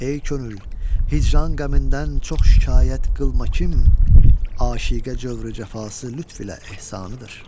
Ey könül, hicran qəmindən çox şikayət qılma kim, aşiqə cövrü cəfası lütf ilə ehsanıdır.